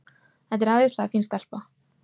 Þetta er æðislega fín stelpa.